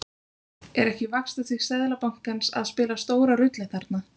Er ekki vaxtastig Seðlabankans að spila stóra rullu þarna?